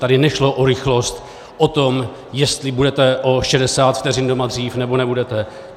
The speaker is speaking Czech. Tady nešlo o rychlost, o to, jestli budete o 60 vteřin doma dřív, nebo nebudete.